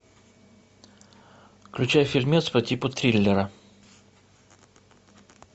включай фильмец по типу триллера